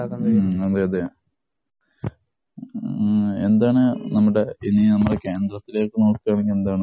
മ്, അതേയതെ. എന്താണ് നമ്മുടെ ഇനി നമ്മുടെ കേന്ദ്രത്തിലേക്ക് നോക്കുകയാണെങ്കില്‍ എന്താണ്?